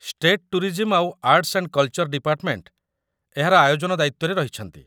State tourism ଆଉ arts and culture department ଏହାର ଆୟୋଜନ ଦାୟିତ୍ୱରେ ରହିଛନ୍ତି ।